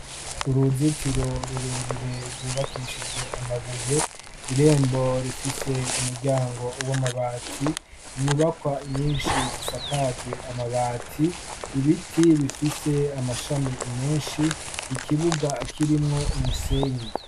uruzitiro rurerure rwubakishije amabuye irembo rifise umuryango w'amabati inyubakwa nyinshi zisakajwe amabati ibiti bifise amashami menshi ikibuga kirimwo umusenyi